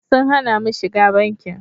Sun hana mu shiga bankin.